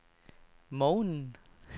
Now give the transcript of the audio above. morgenen